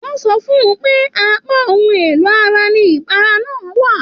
Wọn sọ fún pé apá ohùn èlò ara ní ipara náà wà.